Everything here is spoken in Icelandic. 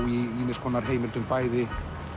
í ýmis konar heimildum bæði